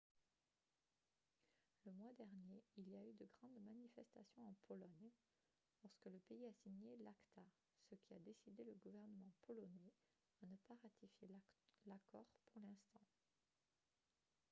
le mois dernier il y a eu de grandes manifestations en pologne lorsque le pays a signé l'acta ce qui a décidé le gouvernement polonais à ne pas ratifier l'accord pour l'instant